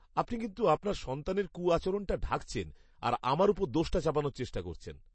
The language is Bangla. আপনি কিন্তু আপনার সন্তানের কু আচরণটা ঢাকছেন আর আমার ওপর দোষটা চাপানোর চেষ্টা করছেন।